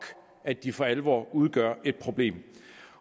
at de for alvor udgør et problem